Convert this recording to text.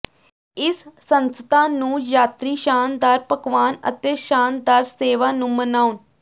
ਇਸ ਸੰਸਥਾ ਨੂੰ ਯਾਤਰੀ ਸ਼ਾਨਦਾਰ ਪਕਵਾਨ ਅਤੇ ਸ਼ਾਨਦਾਰ ਸੇਵਾ ਨੂੰ ਮਨਾਉਣ